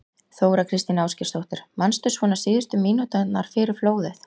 Þóra Kristín Ásgeirsdóttir: Manstu svona síðustu mínúturnar fyrir flóðið?